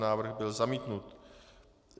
Návrh byl zamítnut.